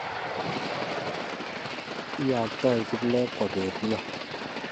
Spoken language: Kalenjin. lyoktoi kiplekwa belion